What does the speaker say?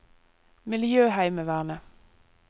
miljøheimevernet